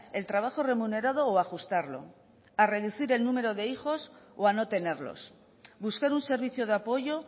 el trabajo remunerado o a ajustarlo a reducir el número de hijos o a no tenerlos buscar un servicio de apoyo